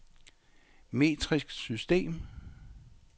metrisk system